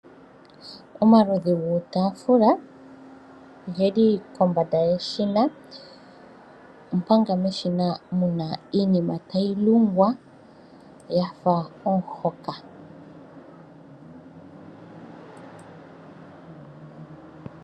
Omaludhi guutafula oge li kombanda yeshina, omanga meshina mu na iinima tayi lungwa ya fa omuhoka.